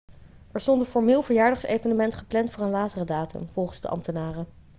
er stond een formeel verjaardagsevenement gepland voor een latere datum volgens de ambtenaren